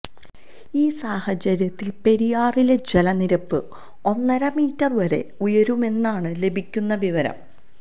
ഈ സാഹചര്യത്തിൽ പെരിയാറിലെ ജലനിരപ്പ് ഒന്നര മീറ്റർ വരെ ഉയരുമെന്നാണ് ലഭിക്കുന്ന വിവരം